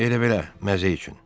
Elə-belə, məzə üçün.